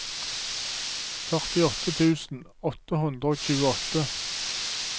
førtiåtte tusen åtte hundre og tjueåtte